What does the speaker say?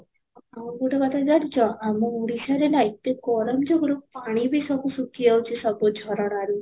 ଆଉ ଗୋଟେ କଥା ଯାଇଛ ଆମ ଓଡ଼ିଶାରେ ନା ଏତେ ଗରମ ଯୁଗରୁ ପାଣି ବି ସବୁ ଶୁଖି ଯାଉଛି ସବୁ ଝରଣାରୁ